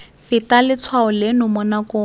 feta letshwao leno mo nakong